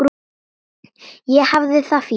Ég hafði það fínt.